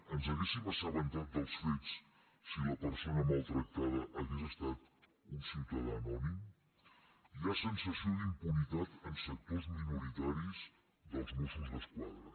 ens hauríem assabentat dels fets si la persona maltrac·tada hagués estat un ciutadà anònim hi ha sensació d’impunitat en sectors minoritaris dels mossos d’es·quadra